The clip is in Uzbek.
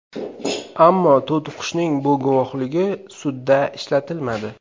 Ammo to‘tiqushning bu guvohligi sudda ishlatilmadi.